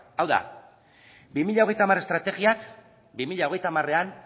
hau da bi mila hogeita hamar estrategiak bi mila hogeita hamarean